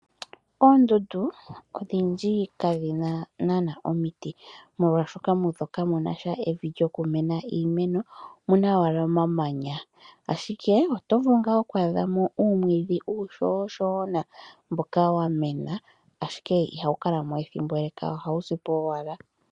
Oondundu odhindji kadhina nana omiti molwashoka mudho kamuna evi moka hamuvulu okumena iimeno omuna owala omamanya ashike oto vulu wo oku adhamo uumwidhi mboka uushona mboka wamena ashike ihawu Kalamazoo ethimbo eleka ohawu sipo owala.